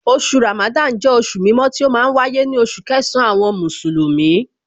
Oṣù Ramadan jẹ́ oṣù mímọ́ tí ó ma ń wáyé ní oṣù kẹsàn-án àwọn Mùsùlùmí